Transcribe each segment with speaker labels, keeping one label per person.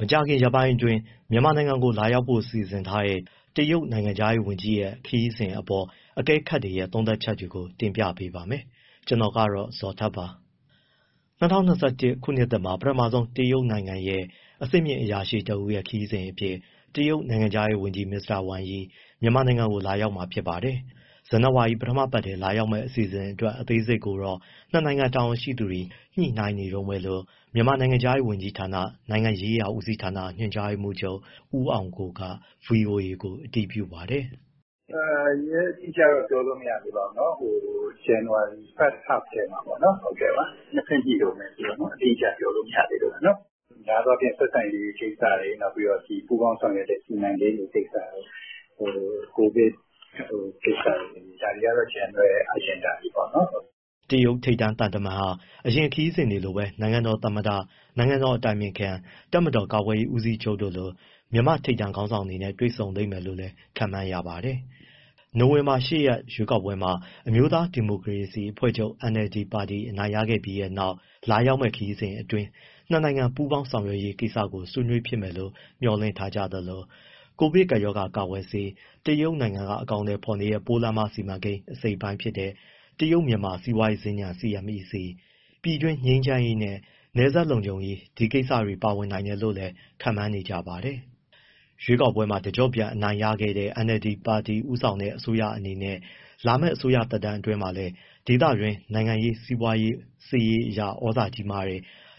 Speaker 1: မကြာခင်ရက်ပိုင်းအတွင်း မြန်မာနိုင်ငံကို လာရောက်ဖို့ စီစဉ်ထားတဲ့ တရုတ်နိုင်ငံခြားရေးဝန်ကြီးရဲ့ ခရီးစဉ်အပေါ် အကဲခတ်တွေရဲ့ သုံးသပ်ချက်တွေကို တင်ပြပါမယ်။ ဗွီအိုအေမြန်မာပိုင်း သတင်းထောက် ကိုဇော်ထက်က သတင်းပေးပို့ထားပါတယ်။ ၂၀၂၁ ခုနှစ်သစ်မှာ ပထမဆုံး တရုတ်နိုင်ငံရဲ့ အဆင့်မြင့်အရာရှိတဦးရဲ့ ခရီးစဉ်အဖြစ် တရုတ်နိုင်ငံခြားရေးဝန်ကြီး မစ္စတာဝမ်ယီ မြန်မာနိုင်ငံကို လာရောက်မှာ ဖြစ်ပါတယ်။ ဇန်နဝါရီ ပထမပတ်ထဲ လာရောက်မယ့် အစီအစဉ်အတွက် အသေးစိတ်ကိုတော့ ၂ နိုင်ငံ တာဝန်ရှိသူတွေ ညှိနှိုင်းနေတုန်းပဲလို့ မြန်မာနိုင်ငံခြားရေးဝန်ကြီးဌာန၊ နိုင်ငံရေးရာဦးစီးဌာန ညွှန်ကြားရေးမှူးချုပ် ဦးအောင်ကိုက ဗွီအိုအေကို အတည်ပြုပါတယ်
Speaker 2: ။ “ရက်အတိအကျတော့ ပြောလို့ မရသေးပါဘူးနော်။ ဇန်နဝါရီ ပထမအပတ်မှာပေါ့နော်... နှစ်ဘက်ညှိတုန်းပဲဆိုတော့ အတိအကျ ပြောလို့မရသေးလို့ပါ။ များသောအားဖြင့် ဆက်ဆံရေးကိစ္စ၊ ပူးပေါင်းဆောင်ရွက်တဲ့ စီမံကိန်းတွေကိစ္စ၊ ကိုဗစ်ကိစ္စတွေ ဒါတွေကတော့ general agenda တွေပေါ့။
Speaker 1: ” တရုတ်ထိပ်တန်းသံတမန်ဟာ အရင်ခရီးစဉ်တွေလိုပဲ နိုင်ငံတော်သမ္မတ၊ နိုင်ငံတော်အတိုင်ပင်ခံ၊ တပ်မတော် ကာကွယ်ရေး ဦးစီးချုပ်တို့လို မြန်မာထိပ်တန်းခေါင်းဆောင်တွေနဲ့ တွေ့ဆုံလိမ့်မယ်လို့လည်း ခန့်မှန်းရပါတယ်။ နိုဝင်ဘာလ ၈ ရက်နေ့ ရွေးကောက်ပွဲမှာ NLD အမျိုးသားဒီမိုကရေစီ အဖွဲ့ချုပ် အနိုင်ရခဲ့ပြီးနောက် လာရောက်မယ့် ခရီးစဉ်အတွင်း ၂ နိုင်ငံ ပူးပေါင်းဆောင်ရွက်ရေး ကိစ္စတွေကို ဆွေးနွေးဖြစ်မယ်လို့ မျှော်လင့်ထားကြသလို၊ ကိုဗစ်ကပ်ရောဂါ ကာကွယ်ဆေး၊ တရုတ်နိုင်ငံက အကောင်အထည်ဖော်နေတဲ့ ပိုးလမ်းမစီမံကိန်း အစိတ်အပိုင်းဖြစ်တဲ့ တရုတ်- မြန်မာ စီးပွားရေးစင်္ကြန် CMEC၊ ပြည်တွင်းငြိမ်းချမ်းရေးနဲ့ နယ်စပ်လုံခြုံရေး ဒီကိစ္စတွေ ပါဝင်နိုင်တယ်လို့လည်း ခန့်မှန်းနေကြပါတယ်။ ရွေးကောက်ပွဲမှာ တကျော့ပြန် အနိုင်ရခဲ့တဲ့ NLD ပါတီ ဦးဆောင်တဲ့ အစိုးရအနေနဲ့ လာမယ့် အစိုးရသက်တမ်းအတွင်းမှာလည်း ဒေသတွင်းမှာ နိုင်ငံရေး၊ စီးပွားရေး၊ စစ်ရေးအရ သြဇာကြီးတဲ့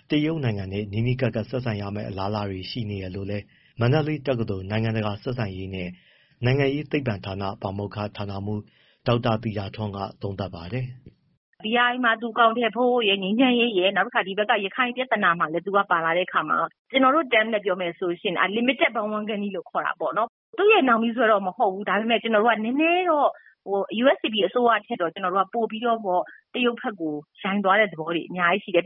Speaker 1: တရုတ်နိုင်ငံနဲ့ နီးနီးကပ်ကပ် ဆက်ဆံရမယ့် အလားအလာတွေ ရှိနေတယ်လို့လည်း မန္တလေးတက္ကသိုလ် နိုင်ငံတကာ ဆက်ဆံရေးနှင့် နိုင်ငံရေးသိပ္ပံပညာဌာန ပါမောက္ခ (ဌာနမှူး) ဒေါက်တာသီတာထွန်းက သုံးသပ်ပါတယ်။
Speaker 2: “(ပိုးလမ်းမစီမံကိန်း) BRI မှာ သူအကောင်အထည်ဖော်ဖို့ရယ်၊ ငြိမ်းချမ်းရေးရယ်၊ ပြီးတော့ ဒီက ရခိုင်ပြဿနာမှာရယ် သူက (တရုတ်က) ပါလာတဲ့အခါမှာ ကျနော်တို့ terms နဲ့ ပြောမယ်ဆိုရင် unlimited bandwagoning ခေါ်တာပေါ့နော်။ သူ့ရဲ့ နောက်မြီးဆွဲတော့ မဟုတ်ဘူး။ ဒါပေမဲ့ ကျနော်တို့က နည်းနည်းတော့ USDP အစိုးရထက်ပိုပြီး တရုတ်ဘက်ကို ယိုင်သွားတဲ့သဘောတွေ အများကြီးရှိတယ်။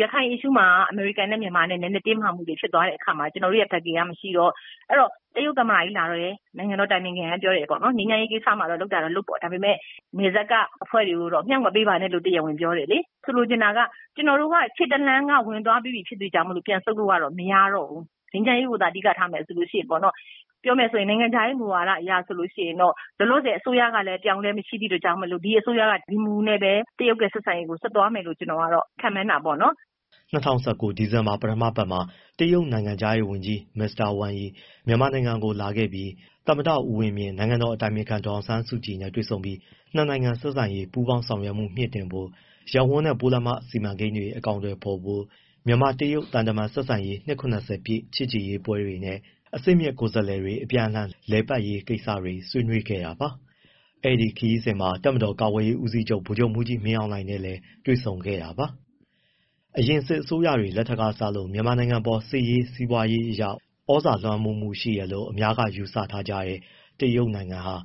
Speaker 2: ရခိုင် ပြဿနာမှာ အမေရိကန်နဲ့ မြန်မာ နည်းနည်းတင်းမာမှုတွေ ဖြစ်သွားတဲ့အခါမှာ ကျနော်တို့ရဲ့ backing က မရှိတော့၊ အဲဒီတော့ တရုတ်သမ္မတကြီးလာတယ် နိုင်ငံတော် အတိုင်ပင်ခံက ပြောတယ်ပေါ့နော်.. ငြိမ်းချမ်းရေးကိစ္စမှာ လုပ်တာတော့လုပ်ပေါ့။ ဒါပေမဲ့ နယ်စပ်က အဖွဲ့တွေကိုတော့ မြှောက်မပေးပါနဲ့လို့ တရားဝင်ပြောတယ်လေ။ ဆိုလိုချင်တာက ကျနော်တို့က ခြေတလှမ်းက ဝင်သွားပြီးပြီ ဖြစ်တဲ့အတွက်ကြောင့်မို့ ပြန်ဆုတ်လို့က မရတော့ဘူး။ ငြိမ်းချမ်းရေးကိုသာ အဓိက ထားမယ်ဆိုရင်ပေါ့နော်။ ပြောမယ်ဆိုရင် နိုင်ငံခြားရေး မူဝါဒအရဆိုရင် လောလောဆယ် အစိုးရကလည်း အပြောင်းအလဲ မရှိသည့်အတွက်ကြောင့်မို့ ဒီအစိုးရက ဒီမူနဲ့ပဲ တရုတ်ရဲ့ ဆက်ဆံရေးကို ဆက်သွားမယ်လို့ ကျနော်က ခန့်မှန်းတာပေါ့နော်။
Speaker 1: ” ၂၀၁၉ ဒီဇင်ဘာ ပထမအပတ်မှာ တရုတ်နိုင်ငံခြားရေးဝန်ကြီး မစ္စတာ ဝမ်ယီ မြန်မာနိုင်ငံကို လာခဲပြီး သမ္မတဦးဝင်းမြင့်၊ နိုင်ငံတော်အတိုင်ပင်ခံ ဒေါ်အောင်ဆန်းစုကြည်နဲ့ တွေ့ပြီး နှစ်နိုင်ငံ ဆက်ဆံရေးနဲ့ ပူးပေါင်းဆောင်ရွက်မှု မြှင့်တင်ဖို့၊ ရပ်ဝန်းနဲ့ပိုးလမ်းမ စီမံကိန်းတွေ အကောင်အထည်ဖော်ဖို့၊ မြန်မာ-တရုတ် သံတမန်ဆက်ဆံရေး နှစ် (၇၀) ပြည့် ချစ်ကြည်ရေးပွဲတွေနဲ့ အဆင့်မြင့် ကိုယ်စားလှယ်တွေ အပြန်အလှန် လည်ပတ်ရေးကိစ္စတွေ ဆွေးနွေး ခဲ့တာပါ။ အဲဒီခရီးစဉ်မှာ တပ်မတော် ကာကွယ်ရေးဦးစီးချုပ် ဗိုလ်ချုပ်မှူးကြီး မင်းအောင်လှိုင်နဲ့လည်း တွေ့ဆုံခဲ့တာပါ။ အရင်စစ်အစိုးရတွေ လက်ထက်ကစလို့ မြန်မာနိုင်ငံအပေါ် နိုင်ငံရေး၊ စီးပွားရေးအရ သြဇာလွှမ်းမိုးမှုရှိတယ်လို့ အများက ယူဆထားကြတဲ့ တရုတ်နိုင်ငံဟာ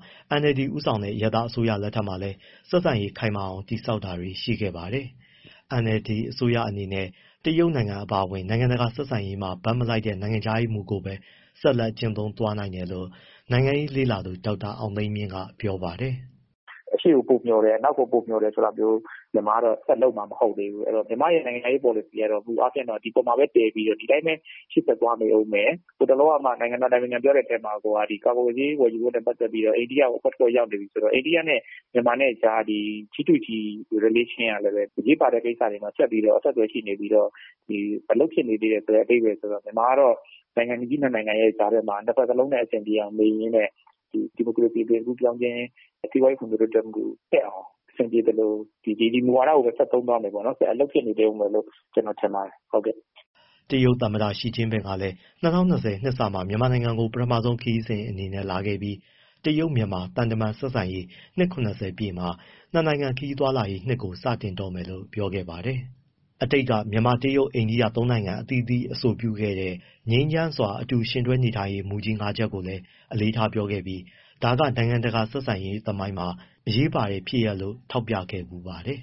Speaker 1: NLD ဦးဆောင်တဲ့ အရပ်သား အစိုးရလက်ထက်မှာလည်း ဆက်ဆံရေးခိုင်မာအောင် တည်ဆောက်တာတွေ ရှိခဲ့ပါတယ်။ NLD အစိုးရအနေနဲ့ကတော့ တရုတ်နိုင်ငံ အပါအဝင် နိုင်ငံတကာ ဆက်ဆံရေးမှာ ဘက်မလိုက်တဲ့ နိုင်ငံခြားရေးမူကိုပဲ ဆက်လက် ကျင့်သုံးသွားနိုင်တယ်လို့ နိုင်ငံရေး လေ့လာသုံးသပ်သူ ဒေါက်တာအောင်သိန်းမြင့်က ပြောပါတယ်။
Speaker 2: “အရှေ့ကိုပိုမျှော်တယ်၊ အနောက်ကို ပိုမျှော်တယ်ဆိုတာမျိုး မြန်မာက ဆက်လုပ်မှာ မဟုတ်သေးဘူး။ မြန်မာ့ရဲ့ နိုင်ငံခြားရေး ပေါ်လစီကတော့ ဒီအပေါ်မှာပဲ တည်ပြီးတော့ ဒီတိုင်းရှေ့ဆက်သွားမယ်။ ဟိုတလောကမှ နိုင်ငံတော် အတိုင်ပင်ခံပြောတဲ့အထဲမှာ ကာကွယ်ဆေး ဝယ်ယူရေးနဲ့ ပတ်သက်ပြီးတော့ အိန္ဒိယကို အဖွဲ့ရောက်နေပြီဆိုတော့ အိန္ဒိယနဲ့ မြန်မာနဲ့ကြား အစိုးရချင်းဆံဆက်မှုကလည်း အရေးပါတဲ့ကိစ္စမှာ ဆက်ပြီးရှိနေပြီးတော့ အလုပ်ဖြစ်နေသေးတယ်ဆိုတဲ့ အဓိပ္ပာယ်ဆိုတော့ မြန်မာကတော့ နိုင်ငံကြီးနှစ်နိုင်ငံရဲ့ ကြားထဲမှာ နှစ်ဘက်လုံနဲ့ အဆင်ပြေအောင်နေရင်းနဲ့ ဒီမိုကရေစီ အသွင်ကူးပြောင်းခြင်း၊ စီးပွားရေး ဖွံ့ဖြိုးတိုးတက်အောင် အဆင်ပြေသလို ဒီမူဝါဒကိုပဲ ဆက်သုံးသွားမယ်၊ အလုပ်ဖြစ်နေဦးမယ်လို့ ထင်ပါတယ်။
Speaker 1: ” တရုတ်သမ္မတ ရှီကျင့်ပင်ကလည်း ၂၀၂၀ နှစ်စမှာ မြန်မာနိုင်ငံကို ပထမဆုံးခရီးစဉ်အနေနဲ့လာခဲ့ပြီး တရုတ်-မြန်မာ သံတမန်ဆက်ဆံရေး နှစ် (၇၀) ပြည့်နှစ်မှာ နှစ်နိုင်ငံခရီးသွားလာရေးနှစ်ကို စတင်တော့မယ်လို့ ပြောခဲ့ပါတယ်။ အတိတ်က မြန်မာ-တရုတ်-အိန္ဒိယ သုံးနိုင်ငံ အသီးသီး အဆိုပြုခဲ့တဲ့ ငြိမ်းချမ်းစွာ အတူယှဉ်တွဲနေထိုင်ရေး မူကြီး ၅ ချက်ကိုအလေးထားပြောခဲ့ပြီး ဒါက နိုင်ငံတကာ ဆက်ဆံရေးသမိုင်းမှာ အရေးပါတဲ့ဖြစ်ရပ်လို့ ထောက်ပြခဲ့ဘူးပါတယ်